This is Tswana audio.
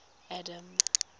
adam